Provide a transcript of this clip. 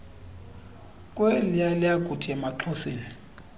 kweliya lakuthi emaxhoseni